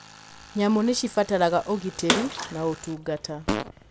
Nyamũ nĩ cibataraga ũgitĩri na ũtungata.